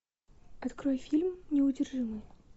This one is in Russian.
открой фильм неудержимые